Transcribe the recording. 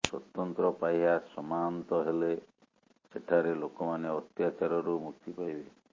ସ୍ୱତନ୍ତ୍ର ପାହ୍ୟା ସମାନ୍ତ ହେଲେ ସେଠାରେ ଲୋକମାନେ ଅତ୍ୟାଚାରରୁ ମୁକ୍ତି ପାଇବେ